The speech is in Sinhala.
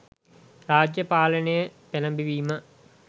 රාජ්‍ය පාලනය පෙළඹවීම